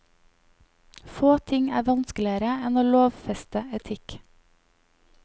Få ting er vanskeligere enn å lovfeste etikk.